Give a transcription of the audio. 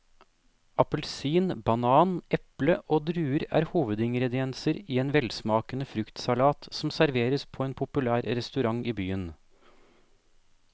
Appelsin, banan, eple og druer er hovedingredienser i en velsmakende fruktsalat som serveres på en populær restaurant i byen.